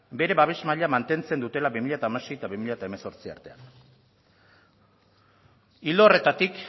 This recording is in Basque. bere babes maila mantentzen dutelako bi mila hamasei bi mila hemezortzi artean ildo horretatik